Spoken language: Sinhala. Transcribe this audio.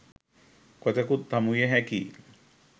කොතෙකුත් හමු විය හැකියි.